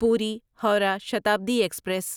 پوری ہورہ شتابدی ایکسپریس